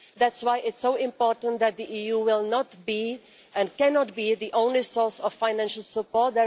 That's why it is so important that the EU will not be and cannot be the only source of financial support.